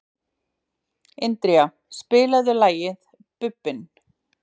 Indíra, spilaðu lagið „Bubbinn“.